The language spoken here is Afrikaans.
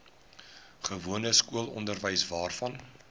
gewone skoolonderwys waarvan